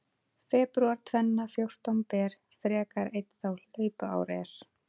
Febrúar tvenna fjórtán ber, frekar einn þá hlaupár er.